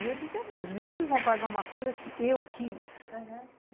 É, e eu dizia, não, os meninos vão pagar uma coisa que eu quis, aham.